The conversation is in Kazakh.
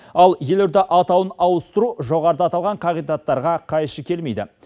ал елорда атауын ауыстыру жоғарыда аталған қағидаттарға қайшы келмейді